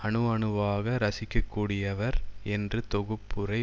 அணு அணுவாக ரசிக்கக்கூடியவர் என்று தொகுப்புரை